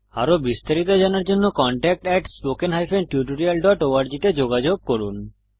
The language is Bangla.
আরো বিস্তারিত জানার জন্য contactspoken tutorialorg তে যোগযোগ করুন